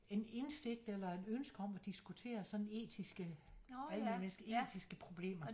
En indsigt eller et ønske om at diskutere sådan etiske almenmenneskelige etiske problemer